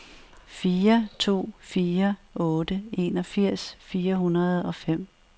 fire to fire otte enogfirs fire hundrede og fem